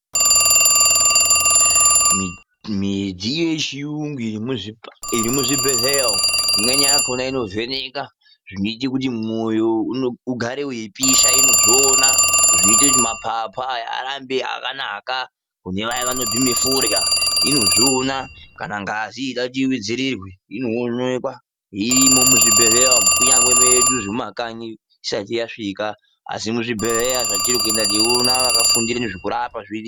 Midziyo yechiyungu iri muzvibhedhlera umwo, imweni yakhona inovheneka zvinoita kuti mwoyo ugare weipisha inozviona, zvinoita kuti maphaphu aya arambe akanaka kune vaya vanobhema forya inozviona, kana ngazi yeida kuti itutsirwe inoonekwa. Zvirimwo muzvibhedhlera umwo, kunyangwe mwedu mumakanyi azvisati zvaguma, asi muzvibhedhlera zvetiri kuenda teiona vakafundire kurapa urimwo.